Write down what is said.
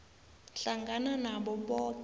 hlangana nabo boke